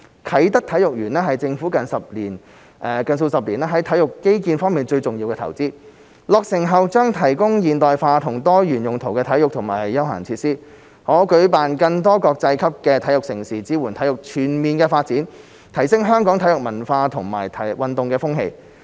啟德體育園是政府近數十年在體育基建方面最重要的投資，落成後將提供現代化和多用途的體育和休憩設施，可舉辦更多國際級的體育盛事，支援體育全面發展，提升香港的體育文化和運動風氣。